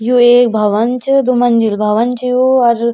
यु एक भवन च दुमंजिल भवन च यू और --